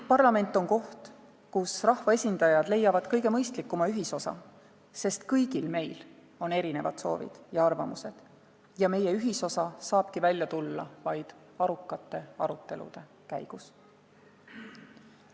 Parlament on koht, kus rahva esindajad leiavad kõige mõistlikuma ühisosa, sest kõigil meil on erinevad soovid ja arvamused ning meie ühisosa saabki välja tulla vaid arukate arutelude käigus.